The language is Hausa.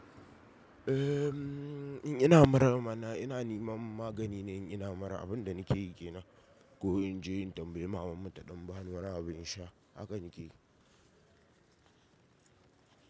Ehmm in ina mura mana, ina nema magani ne in ina mura abin da nake yi ke nan ko in je in tambayi mamammu ta dan bani wani abun na sha, hakan yake yi.